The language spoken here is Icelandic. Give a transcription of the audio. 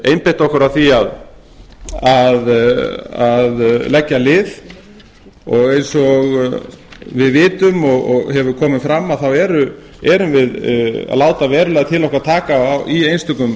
einbeitt okkur að því að leggja lið og eins og við vitum og hefur komið fram þá erum við að láta verulega til okkar taka í einstökum